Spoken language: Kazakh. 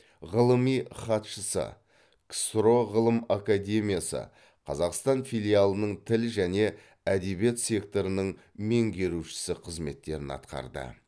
ғылыми хатшысы ксро ғылым академиясы қазақстан филиалының тіл және әдебиет секторының меңгерушісі қызметтерін атқарды